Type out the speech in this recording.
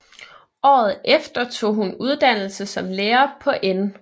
Året efter tog hun uddannelse som lærer på N